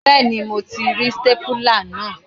Bẹ́ẹ̀ni mo ti rí stépìlà náà.